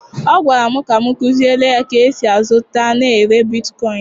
Ọ gwara m ka m kụziere ya ka e si azụta na ere bitkoịn.